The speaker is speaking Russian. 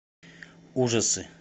ужасы